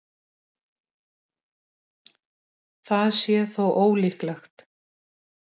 Við vitum hvað hann getur sparkað vel og það sama má segja um Aron Sigurðar.